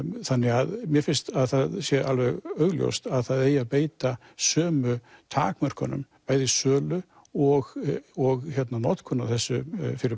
þannig að mér finnst að það sé alveg augljóst að það eigi að beita sömu takmörkunum bæði í sölu og og notkun á þessu